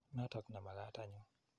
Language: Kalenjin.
Notok ne makat anyun.